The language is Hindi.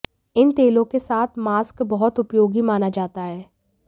इन तेलों के साथ मास्क बहुत उपयोगी माना जाता है